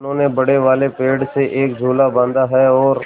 मनु ने बड़े वाले पेड़ से एक झूला बाँधा है और